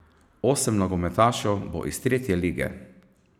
Osem nogometašev bo iz tretje lige.